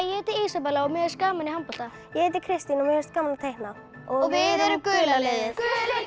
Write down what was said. ég heiti Ísabella og mér finnst gaman í handbolta ég heiti Kristín og mér finnst gaman að teikna og við erum gula liðið gulir